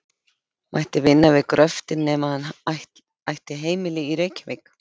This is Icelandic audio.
mætti vinna við gröftinn nema hann ætti heimili í Reykjavík.